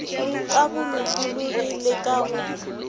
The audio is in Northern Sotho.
ka bolokologi le ka go